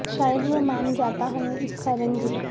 شاید وہ مان جاتا ہمیں اس کا رنج ہے